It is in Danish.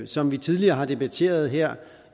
som vi tidligere har debatteret her